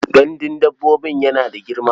Gandun dabbobin yana da girma?